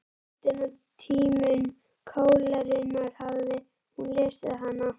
Ástin á tímum kólerunnar, hafði hún lesið hana?